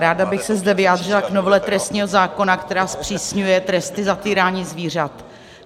Ráda bych se zde vyjádřila k novele trestního zákona, která zpřísňuje tresty za týrání zvířat.